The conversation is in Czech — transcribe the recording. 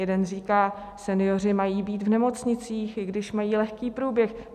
Jeden říká: senioři mají být v nemocnicích, i když mají lehký průběh.